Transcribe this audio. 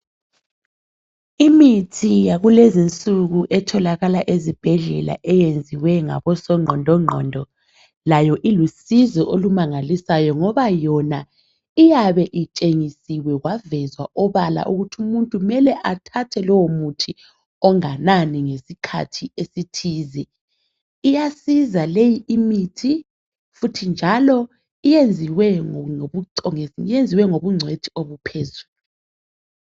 Imithi yakulezinsuku etholakala ezibhedlela, eyenziwe ngabosongqondongqondo. Layo ilusizo olumangalisayo, ngoba yona iyabe itshengisiwe, kwavezwa obala, ukuthi umuntu kumele athathe lowomuthi, onganani, ngesikhathi esithize. Iyasiza limithi, njalo yenziwe, ngobuco... ngobungcwethi obuphezulu.